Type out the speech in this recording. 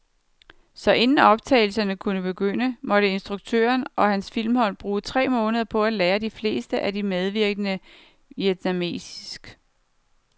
Så inden optagelserne kunne begynde, måtte instruktøren og hans filmhold bruge tre måneder på at lære de fleste af de medvirkende vietnamesisk.